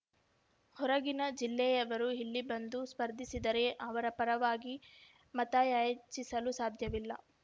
ಹೊರಗಿನ ಜಿಲ್ಲೆಯವರು ಇಲ್ಲಿ ಬಂದು ಸ್ಪರ್ಧಿಸಿದರೆ ಅವರ ಪರವಾಗಿ ಮತಯಾಚಿಸಲು ಸಾಧ್ಯವಿಲ್ಲ